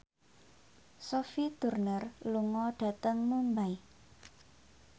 Sophie Turner lunga dhateng Mumbai